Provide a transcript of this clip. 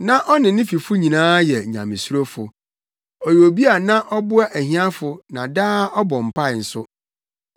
Na ɔne ne fifo nyinaa yɛ Nyamesurofo. Ɔyɛ obi a na ɔboa ahiafo na daa ɔbɔ mpae nso.